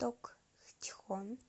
токчхон